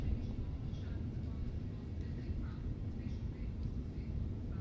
Yəni bu ildırımın özünün ölçüsü də, uzunluğu da çox böyük.